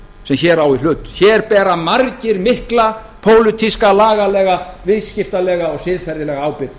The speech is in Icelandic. sem hér á í hlut hér bera margir mikla pólitíska lagalega viðskiptalega og siðferðilega ábyrgð